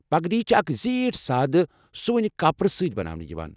پگڈی چھِ اکھ زیٖٹھ سادٕ سُوٕنیہ کپرٕ سۭتۍ بناونہٕ یِوان۔